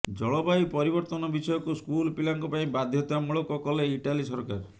ଜଳବାୟୁ ପରିବର୍ତ୍ତନ ବିଷୟକୁ ସ୍କୁଲ ପିଲାଙ୍କ ପାଇଁ ବାଧ୍ୟତାମୂଳକ କଲେ ଇଟାଲୀ ସରକାର